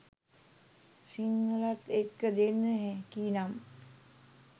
සිංහලත් එක්ක දෙන්න හැකිනම්